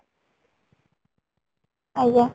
ଆଜ୍ଞା